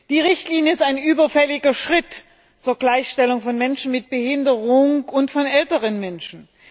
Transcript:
Die Richtlinie ist ein überfälliger Schritt zur Gleichstellung von Menschen mit Behinderungen und von älteren Menschen.